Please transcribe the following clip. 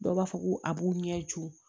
Dɔw b'a fɔ ko a b'u ɲɛju